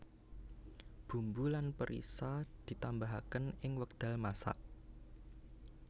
Bumbu lan perisa dipuntambahaken ing wekdal masak